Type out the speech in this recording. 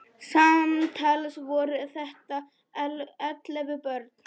Samtals voru þetta ellefu börn.